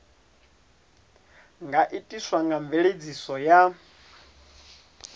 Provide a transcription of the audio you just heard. nga itiswa nga mveledziso ya